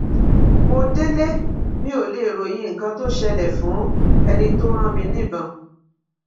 mo délé mi ò lè ròyìn nǹkan tó ṣẹlẹ fún ẹni tó rán mi níbọn